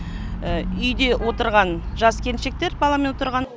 үйде отырған жас келіншектер баламен отырған